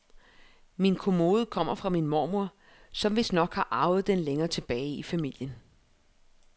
Min kommode kommer fra min mormor, som vistnok har arvet den længere tilbage i familien.